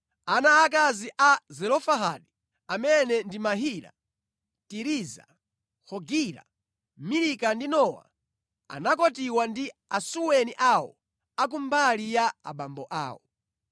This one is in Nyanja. Ana aakazi a Zelofehadi amene ndi Mahila, Tiriza, Hogila, Milika ndi Nowa, anakwatiwa ndi asuweni awo a ku mbali ya abambo awo.